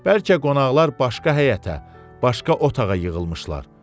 Bəlkə qonaqlar başqa həyətə, başqa otağa yığılmışlar.